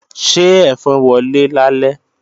Ṣé ẹ̀fọn wọlé lálẹ́?